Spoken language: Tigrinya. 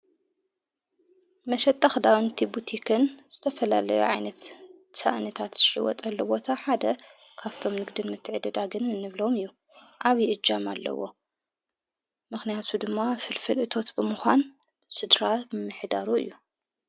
መሸጠኽዳዊ ንቲቡቲኽን ዝተፈላለዮ ዓይነት ሳእንታት ትሽይወጥ ኣለዎታ ሓደ ኻፍቶም ልግድን መትዕደዳግንን እንብለም እዩ ዓብ እጃም ኣለዎ መኽንያቱ ድማ ፍልፍል እቶት ብምዃን ሥድራ ብምኅዳሩ እዩ::